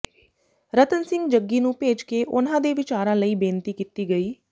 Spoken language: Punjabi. ਰਤਨ ਸਿੰਘ ਜੱਗੀ ਨੂੰ ਭੇਜ ਕੇ ਉਨ੍ਹਾਂ ਦੇ ਵੀਚਾਰਾਂ ਲਈ ਬੇਨਤੀ ਕੀਤੀ ਗਈ